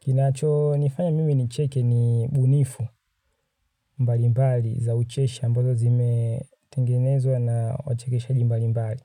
Kinacho nifanya mimi ni cheke ni ubunifu mbali mbali za ucheshi ambazo zime tengenezwa na wachekeshaji mbali mbali.